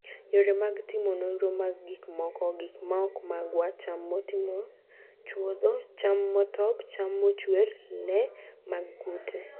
Yore mag timo nonro mag gik moko: gik maok magwa, cham motimo chwodho, cham motop, cham mochuer, le mag kute